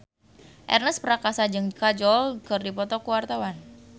Ernest Prakasa jeung Kajol keur dipoto ku wartawan